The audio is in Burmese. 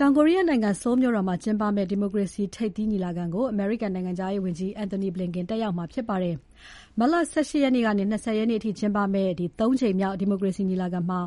တောင်ကိုရီးယားနိုင်ငံ Seoul မြို့တော်မှာ ကျင်းပမယ့် ဒီမိုကရေစီ ထိပ်သီးညီလာခံကို အမေရိကန်နိုင်ငံခြားရေးဝန်ကြီး Antony Blinken တက်ရောက်မှာဖြစ်ပါတယ်။ မတ်လ ၁၈ ရက်နေ့ကနေ ၂၀ ရက်နေ့အထိကျင်းပမယ့် ၃ ကြိမ်မြောက် ဒီမိုကရေစီညီလာခံမှာ